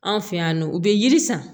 Anw fɛ yan nɔ u bɛ yiri san